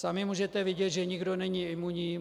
Sami můžete vidět, že nikdo není imunní.